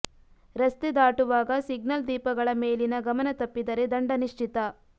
ರಸ್ತೆ ದಾಟುವಾಗ ಸಿಗ್ನಲ್ ದೀಪಗಳ ಮೇಲಿನ ಗಮನ ತಪ್ಪಿದರೆ ದಂಡ ನಿಶ್ಚಿತ